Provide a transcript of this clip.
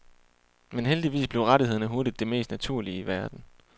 Men heldigvis blev rettighederne hurtigt det mest naturlige i verden.